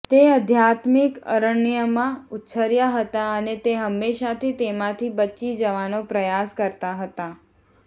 તે આધ્યાત્મિક અરણ્યમાં ઉછર્યા હતા અને તે હંમેશાથી તેમાંથી બચી જવાનો પ્રયાસ કરતા હતા